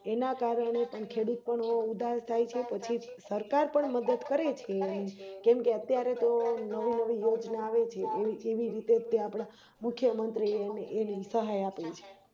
એના કારણે પણ ખેડૂતો ઉદાસ થાય છે પછી સરકાર પણ મદદ કરે છે એમની અત્યારે તો નવી નવી યોજના આવે છે એવી રીતેજ આપણા મુખ્યમંત્રીએની સહાય આપે છે